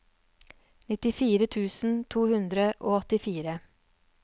nittifire tusen to hundre og åttifire